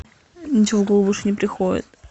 ничего в голову больше не приходит